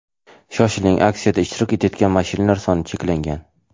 Shoshiling aksiyada ishtirok etayotgan mashinalar soni cheklangan.